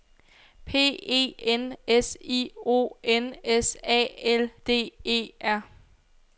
P E N S I O N S A L D E R